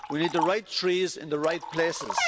We need the right trees in the right places.